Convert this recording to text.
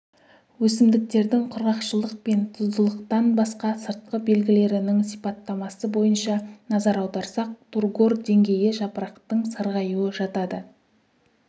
өсімдіктердің құрғақшылық пен тұздылықтан басқа сыртқы белгілерінің сипаттамасы бойынша назар аударсақ тургор деңгейі жапырақтың сарғаюы жатады